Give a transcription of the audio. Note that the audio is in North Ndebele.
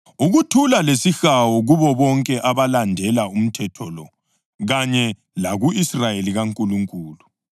Ukuthula lesihawu kubo bonke abalandela umthetho lo, kanye laku-Israyeli kaNkulunkulu.